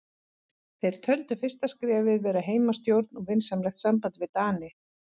Þeir töldu fyrsta skrefið vera heimastjórn og vinsamlegt samband við Dani.